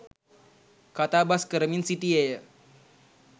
කතාබස්‌ කරමින් සිටියේය.